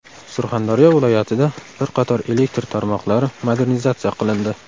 Surxondaryo viloyatida bir qator elektr tarmoqlari modernizatsiya qilindi.